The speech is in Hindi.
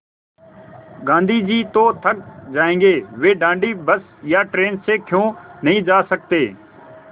गाँधी जी तो थक जायेंगे वे दाँडी बस या ट्रेन से क्यों नहीं जा सकते